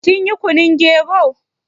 Kin yi kunun gero?